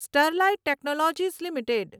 Sterlite Technologies limited